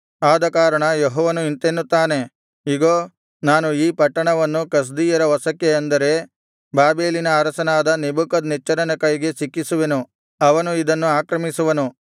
ಆದಕಾರಣ ಯೆಹೋವನು ಇಂತೆನ್ನುತ್ತಾನೆ ಇಗೋ ನಾನು ಈ ಪಟ್ಟಣವನ್ನು ಕಸ್ದೀಯರ ವಶಕ್ಕೆ ಅಂದರೆ ಬಾಬೆಲಿನ ಅರಸನಾದ ನೆಬೂಕದ್ನೆಚ್ಚರನ ಕೈಗೆ ಸಿಕ್ಕಿಸುವೆನು ಅವನು ಇದನ್ನು ಆಕ್ರಮಿಸುವನು